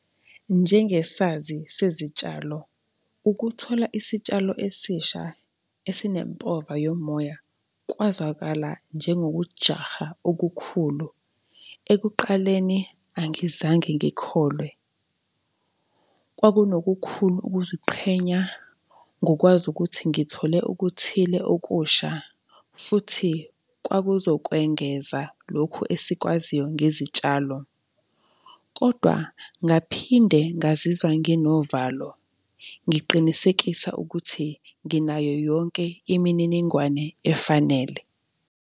Njengesazi sezitshalo, ukuthola isitshalo esisha esinempova yomoya kwazwakala njengokujaha okukhulu. Ekuqaleni angizange ngikholwe. Kwakunokukhulu ukuziqhenya ngokwazi ukuthi ngithole okuthile okusha futhi kwakuzokwengeza lokhu esikwaziyo ngezitshalo. Kodwa ngaphinde ngazizwa nginovalo, ngiqinisekisa ukuthi nginayo yonke imininingwane efanele.